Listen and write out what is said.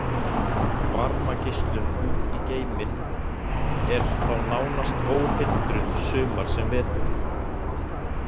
Varmageislun út í geiminn er þá nánast óhindruð sumar sem vetur.